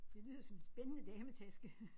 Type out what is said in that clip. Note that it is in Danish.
Det lyder som en spændende dametaske